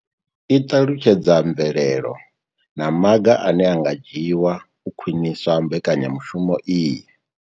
I ṱalutshedza mvelelo na maga ane a nga dzhiwa u khwinisa mbekanya mushumo iyi.